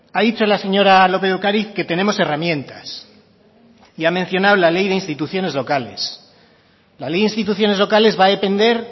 ha dicho la señora lópez de ocariz que tenemos herramientas y ha mencionado la ley de instituciones locales la ley de instituciones locales va a depender